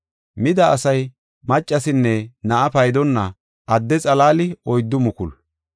Mida asay maccasinne na7a paydonna adde xalaali oyddu mukulu.